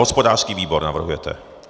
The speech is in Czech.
Hospodářský výbor navrhujete.